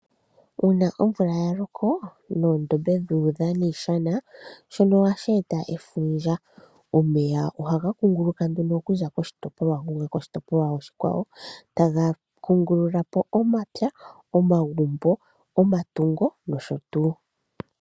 Uuna omvula yaloko, noondombe dhu udha niishana, shono ohashi eta efundja. Omeya ohaga kunguluka nduno okuza koshitopolwa shontumba gu uka koshitopolwa oshikwawo, taga kungululapo omapya, omagumbo, omatungo, nosho tuu.